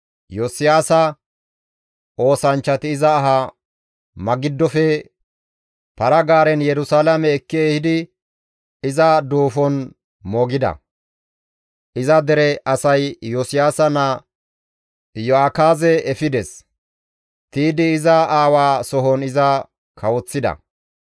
Iyosiyaasa oosanchchati iza ahaza Magiddofe para-gaaren Yerusalaame ekki ehidi iza duufon moogida. Iza dere asay Iyosiyaasa naa Iyo7akaaze efides; tiydi iza aawaa sohon iza kawoththida.